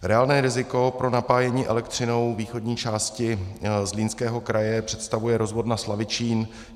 Reálné riziko pro napájení elektřinou východní části Zlínského kraje představuje rozvodna Slavičín.